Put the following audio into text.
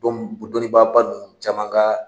Dɔ m ko dɔnninbaaba nn caman ka